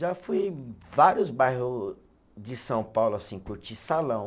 Já fui em vários bairro de São Paulo, assim, curtir salão.